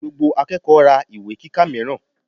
Gbogbo akẹ́kọ̀ọ́ ra ìwé kíkà mìíràn.